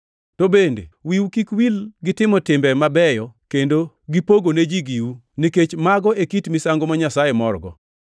To bende wiu kik wil gi timo timbe mabeyo kendo gipogone ji giu, nikech mago e kit misango ma Nyasaye morgo.